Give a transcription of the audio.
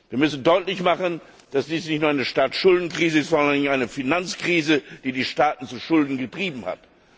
Wir müssen deutlich machen, dass dies nicht nur eine Staatsschuldenkrise ist, sondern eine Finanzkrise, die die Staaten zu Schulden getrieben hat.